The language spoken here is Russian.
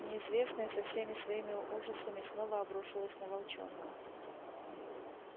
неизвестное со всеми своими ужасами снова обрушилось на волчонка